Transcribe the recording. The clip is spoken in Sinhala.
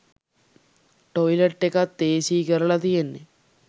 ටොයිලට් එකත් ඒසී කරලා තියෙන්නේ